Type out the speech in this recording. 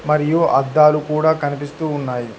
మరియు అద్దాలు కూడా కనిపిస్తూ ఉన్నాయి.